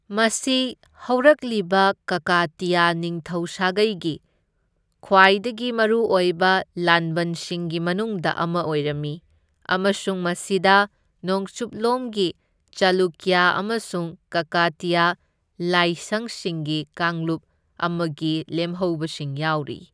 ꯃꯁꯤ ꯍꯧꯔꯛꯂꯤꯕ ꯀꯀꯇꯤꯌꯥ ꯅꯤꯡꯊꯧ ꯁꯥꯒꯩꯒꯤ ꯈ꯭ꯋꯥꯏꯗꯒꯤ ꯃꯔꯨꯑꯣꯏꯕ ꯂꯥꯟꯕꯟꯁꯤꯡꯒꯤ ꯃꯅꯨꯡꯗ ꯑꯃ ꯑꯣꯏꯔꯝꯃꯤ, ꯑꯃꯁꯨꯡ ꯃꯁꯤꯗ ꯅꯣꯡꯆꯨꯞꯂꯣꯝꯒꯤ ꯆꯥꯂꯨꯀ꯭ꯌ ꯑꯃꯁꯨꯡ ꯀꯀꯇꯤꯌꯥ ꯂꯥꯏꯪꯁꯤꯡꯒꯤ ꯀꯥꯡꯂꯨꯞ ꯑꯃꯒꯤ ꯂꯦꯝꯍꯧꯕꯁꯤꯡ ꯌꯥꯎꯔꯤ꯫